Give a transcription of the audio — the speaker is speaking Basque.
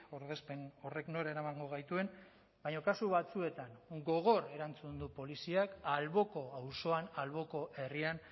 ordezpen horrek nora eramango gaituen baina kasu batzuetan gogor erantzun du poliziak alboko auzoan alboko herrian